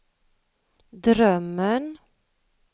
drömmen